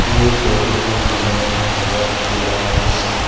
এই ফটো খন দিনৰ ভাগত তোলা হৈছে।